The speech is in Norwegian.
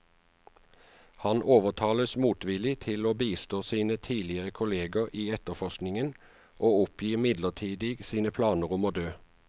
Han overtales motvillig til å bistå sine tidligere kolleger i etterforskningen, og oppgir midlertidig sine planer om å dø.